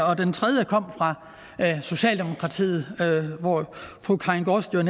og den tredje kom fra socialdemokratiet fru karin gaardsted